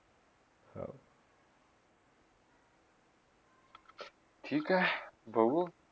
ठीक हय, बघू